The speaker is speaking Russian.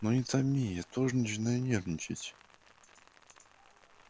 ну не томи я тоже начинаю нервничать